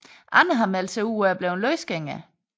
Andre har meldt sig ud og er blevet løsgængere